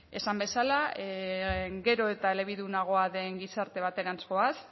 esan bezala gero eta elebidunagoa den gizarte baterantz goaz